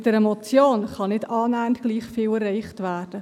Mit einer Motion kann nicht annähernd gleich viel erreicht werden.